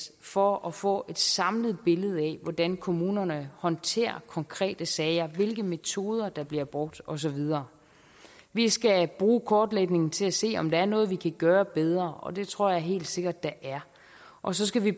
for at få et samlet billede af hvordan kommunerne håndterer konkrete sager hvilke metoder der bliver brugt og så videre vi skal bruge kortlægningen til at se om der er noget vi kan gøre bedre og det tror jeg helt sikkert der er og så skal vi